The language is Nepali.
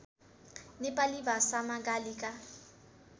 नेपाली भाषामा गालीका